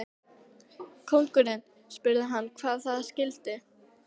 Konungurinn spurði hann hvað það skyldi.